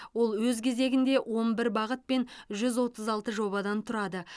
ол өз кезегінде он бір бағыт пен жүз отыз алты жобадан тұрады